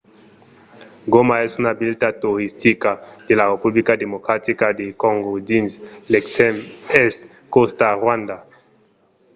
goma es una vila toristica de la republica democratica de còngo dins l'extrèm èst còsta rwanda